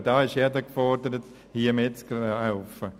Jeder ist gefordert, hier mitzuhelfen.